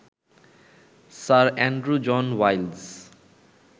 sir Andrew John ওয়াইলস